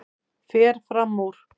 Fer fram úr.